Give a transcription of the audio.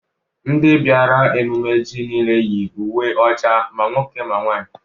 ndị bịara ememme ji niile yi uwe ọcha ma nwoke ma nwaanyị